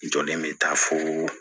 Jɔlen bɛ taa fo